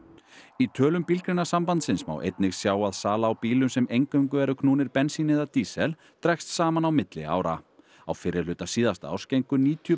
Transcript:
í tölum Bílgreinasambandsins má einnig sjá að sala á bílum sem eingöngu eru knúnir bensíni eða dísil dregst saman á milli ára á fyrri hluta síðasta árs gengu níutíu